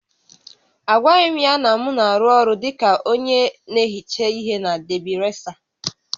Agwaghị m ya na m na-arụ ọrụ dị ka onye na-ehicha ihe na Debi resa